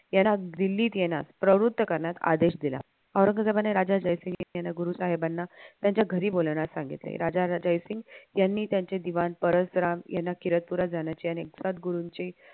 येणार दिल्लीत येणार प्रवृत्त करणर आदेश दिला औरंगजेबाने राजा जयसिंग यांना गुरुसाहेबांना त्यांच्या घरी बोलावण्यास सांगितले राजा जयसिंग यांनी त्यांचे दिवाण परसराम याना किरदपुरा जाण्याचे आणि सद्गुरूंचे